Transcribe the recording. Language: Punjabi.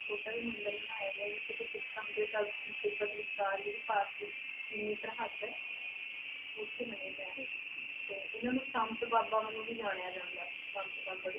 ਛੋਟਾ ਜਿਹਾ ਮੰਦਿਰ ਬਣਾਇਆ ਗਿਆ ਜਿੱਥੇ ਕਿ ਸਿੱਕਮ ਦੇ ਤਿੱਬਤ ਵਿਚਕਾਰ ਜਿਹੜੀ ਭਾਰਤੀ ਚੀਨੀ ਸਰਹੱਦ ਹੈ ਉੱਥੇ ਬਣਿਆ ਜਾ, ਤੇ ਇਹਨਾਂ ਨੂੰ ਸੰਤ ਬਾਬਾ ਵਜੋਂ ਵੀ ਜਾਣਿਆ ਜਾਂਦਾ ਸੰਤ ਬਾਬਾ,